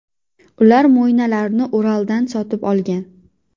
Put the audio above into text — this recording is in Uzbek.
Ular mo‘ynalarni Uraldan sotib olgan.